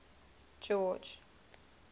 george